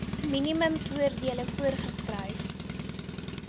minimum voordele voorgeskryf